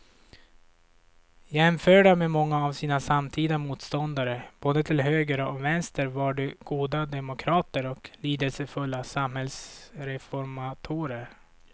Jämförda med många av sina samtida motståndare både till höger och vänster var de goda demokrater och lidelsefulla samhällsreformatorer.